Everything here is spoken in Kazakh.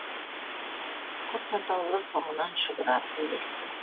құс атаулы соңынан шұбыра ілесті